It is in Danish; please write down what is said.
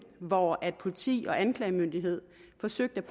hvor politi og anklagemyndighed forsøgte